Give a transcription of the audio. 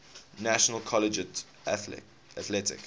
national collegiate athletic